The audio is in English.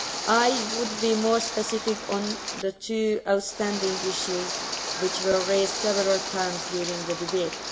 I would be more specific on two outstanding issues which were raised several times during the debate.